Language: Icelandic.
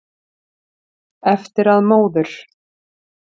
Eftir að móður